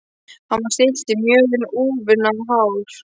Hann var stilltur mjög en úfinn á hár.